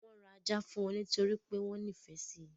Wọ́n ra Ajá fún wọn nítorí pé wọ́n nífẹ̀ẹ́ sí.